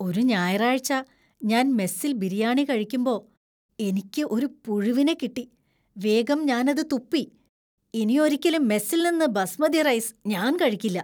ഒരു ഞായറാഴ്ച ഞാൻ മെസ്സിൽ ബിരിയാണി കഴിക്കുമ്പോ എനിയ്ക്ക് ഒരു പുഴുവിനെ കിട്ടി, വേഗം ഞാനത് തുപ്പി. ഇനി ഒരിക്കലും മെസ്സിൽ നിന്ന് ബാസ്മതി റൈസ് ഞാൻ കഴിക്കില്ല.